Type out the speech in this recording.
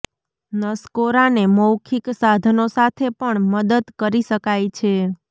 નસકોરાંને મૌખિક સાધનો સાથે પણ મદદ કરી શકાય છે